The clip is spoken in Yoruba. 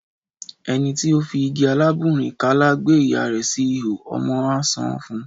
Ẹni ti ó fi igi alábùnrin-kàlà gbé ìyá rẹ̀ sí ìhó̀ ,ọmọ á san án fún un.